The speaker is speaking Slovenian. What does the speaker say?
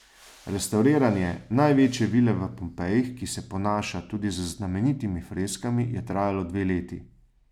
Restavriranje največje vile v Pompejih, ki se ponaša tudi z znamenitimi freskami, je trajalo dve leti.